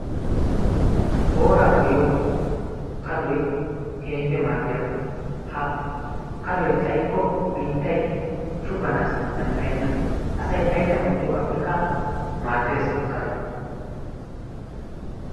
Booraa goyiiyo kadoy keehiippe maadiyabaa. Ha kadoy xayikko biittay shuganaassi danddayenna. Asay aylliyan oottiyogaappekka maaddees kadoy.